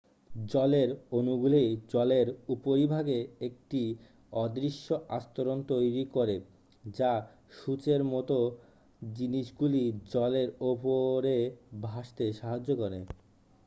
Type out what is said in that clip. জলের অণুগুলি জলের উপরিভাগে একটি অদৃশ্য আস্তরণ তৈরি করে যা সূঁচের মতো জিনিসগুলি জলের উপরে ভাসতে সাহায্য করে